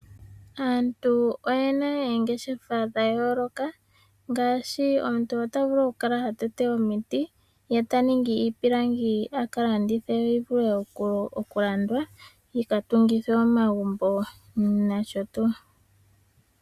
Aantu oye na oongeshefa dha yooloka ngaashi omuntu ota vulu okukala ha tete omiti, ye ta ningi iipilangi a ka landithe yo oyi vule okulandwa yi ka tungithwe omagumbo nosho tuu.